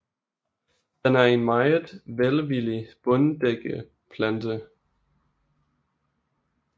Den er en meget velvillig bunddækkeplante